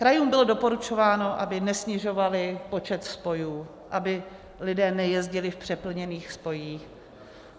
Krajům bylo doporučováno, aby nesnižovaly počet spojů, aby lidé nejezdili v přeplněných spojích.